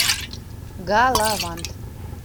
галавант